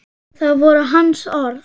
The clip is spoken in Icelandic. Það voru hans orð.